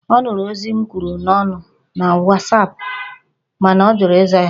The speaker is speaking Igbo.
Ọ nụrụ ozi m kwuru n'ọnụ na Wasapụ mana ọ jụrụ ịza ya